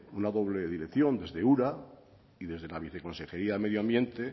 una doble dirección desde ura y desde la viceconsejería de medio ambiente